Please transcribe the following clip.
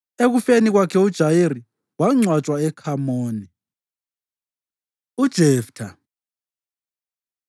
Ekufeni kwakhe uJayiri wangcwatshwa eKhamoni. UJeftha